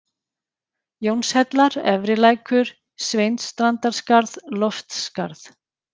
Jónshellar, Efri-Lækur, Sveinsstrandarskarð, Loftsskarð